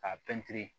K'a pɛntiri